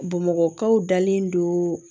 Bamakɔkaw dalen don